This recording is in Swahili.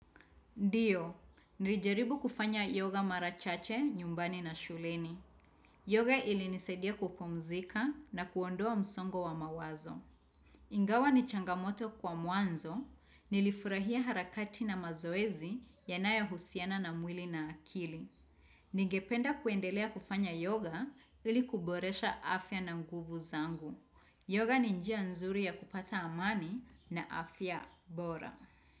Ndiyo, nirijaribu kufanya yoga mara chache nyumbani na shuleni. Yoga ilinisaidia kupumzika na kuondoa msongo wa mawazo. Ingawa ni changamoto kwa mwanzo, nilifurahia harakati na mazoezi yanayo husiana na mwili na akili. Nigependa kuendelea kufanya yoga ili kuboresha afya na nguvu zangu. Yoga ni njia nzuri ya kupata amani na afya bora.